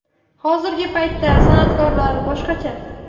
Hozirgi paytda san’atkorlar boshqacha.